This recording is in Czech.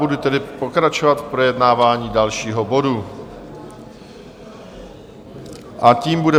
Budu tedy pokračovat v projednávání dalšího bodu a tím bude